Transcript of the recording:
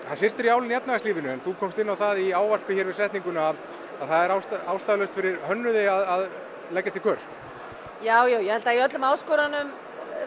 það syrtir í álinn í efnahagslífinu en þú komst inn á það í í setningunni að það er ástæðulaust fyrir hönnuði að leggjast í kör jájá ég held að í öllum áskorunum